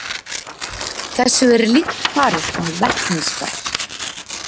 Þessu er líkt farið með vetnisgas.